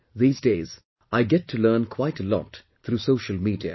These days I get to learn quite a lot through social media